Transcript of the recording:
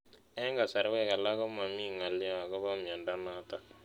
Eng'kasarwek alak ko mami ng'alyo akopo miondo notok